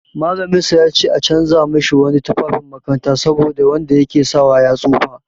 Mallaminsa ya ce a canja mashi wani tufafin makaranta saboda wanda ya ke sawa ya tsufa.